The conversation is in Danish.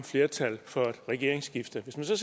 flertal for et regeringsskifte hvis man så